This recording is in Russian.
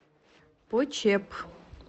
почеп